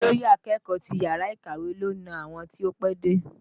Olóyè akẹ́kọ̀ọ́ ti yàrá ìkàwé ló na àwọn tí ó pẹ́dé